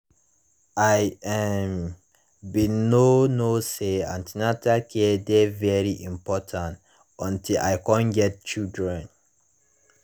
i um bin no know say an ten atal care dey very important until i come get children